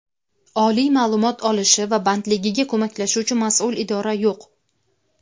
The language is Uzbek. oliy ma’lumot olishi va bandligiga ko‘maklashuvchi mas’ul idora yo‘q.